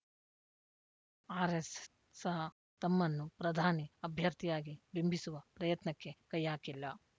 ಆರ್ಯೆಸ್ ಸಹ ತಮ್ಮನ್ನು ಪ್ರಧಾನಿ ಅಭ್ಯರ್ಥಿಯಾಗಿ ಬಿಂಬಿಸುವ ಪ್ರಯತ್ನಕ್ಕೆ ಕೈ ಹಾಕಿಲ್ಲ